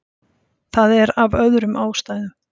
Það er af öðrum ástæðum.